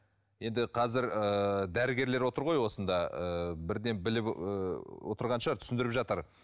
енді қазір ыыы дәрігерлер отыр ғой осында ыыы бірден біліп ы отырған шығар түсіндіріп жатар